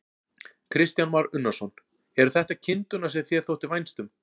Kristján Már Unnarsson: Eru þetta kindurnar sem þér þótti vænst um?